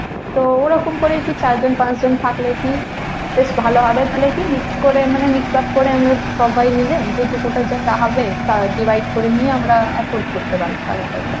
তো ওরকম করে কী চারজন পাঁচজন থাকলে কী বেশ ভালো হবে। তাহলে কী mix করে মানে mix-up করে আমরা সবাই মিলে যেটুকু টা যা টাকা হবে তা divide করে নিয়ে আমরা afford করতে পারব টাকা পয়সা।